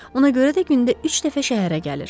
Ona görə də gündə üç dəfə şəhərə gəlir.